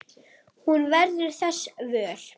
Hún verður þess vör.